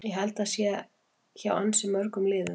Ég held að það sé hjá ansi mörgum liðum.